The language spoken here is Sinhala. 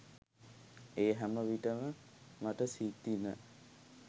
ඒ හැම විට ම මට සිතිණ